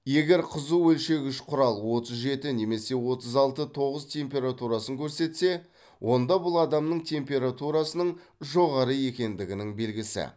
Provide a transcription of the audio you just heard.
егер қызу өлшегіш құрал отыз жеті немесе отыз алты тоғыз температурасын көрсетсе онда бұл адамның температурасының жоғары екендігінің белгісі